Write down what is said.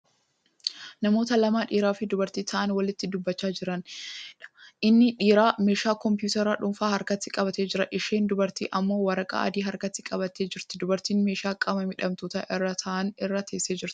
Namoota lama( dhiiraafi dubartii) taa'anii walitti dubbachaa jiraniidha. inni dhiiraa meeshaa kompitaraa dhuunfaa harkatti qabatee jira. isheen dubartii ammoo waraqaa adii harkatti qabattee jirti. dubartiin meeshaa qaama miidhamtoonni irraa taa'an irra teessee jirti.